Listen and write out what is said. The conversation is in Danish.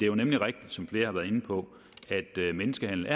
jo nemlig rigtigt som flere har været inde på at menneskehandel